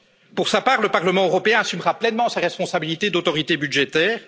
Pour sa part, le Parlement européen assumera pleinement ses responsabilités d'autorité budgétaire.